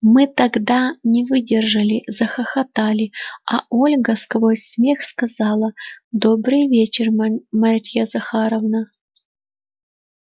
мы тогда не выдержали захохотали а ольга сквозь смех сказала добрый вечер марья захаровна